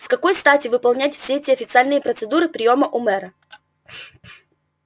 с какой стати выполнять все эти официальные процедуры приёма у мэра